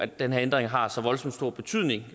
den her ændring har så voldsomt stor betydning